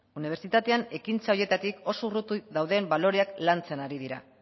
unibertsitatean ekintza horietatik oso urruti dauden baloreak lantzen ari dira